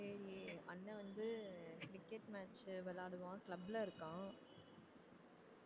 சரி அண்ணன் வந்து cricket match விளையாடுவான் club ல இருக்கான்